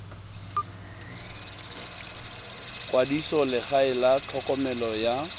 kwadisa legae la tlhokomelo ya